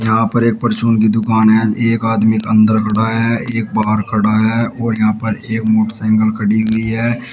यहां पर एक परचून की दुकान है एक आदमी अंदर खड़ा है एक बाहर खड़ा है और यहां पर एक मोटरसाइकल खड़ी हुई है।